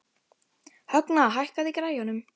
Högna, hækkaðu í græjunum.